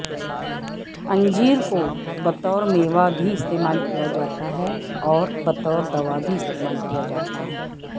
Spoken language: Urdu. انجیر کو بطور میوہ بھی استعمال کیا جاتا ہےاور بطور دوا بھی استعمال کیا جاتاہے